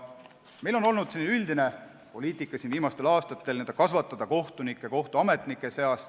Meil on olnud viimastel aastatel üldine poliitika n-ö kasvatada kohtunikke kohtuametnike seast.